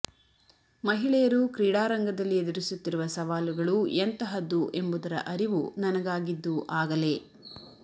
ಮಹಿಳೆಯರು ಕ್ರೀಡಾ ರಂಗದಲ್ಲಿ ಎದುರಿಸುತ್ತಿರುವ ಸವಾಲುಗಳು ಎಂತಹದ್ದು ಎಂಬುದರ ಅರಿವು ನನಗಾಗಿದ್ದು ಆಗಲೇ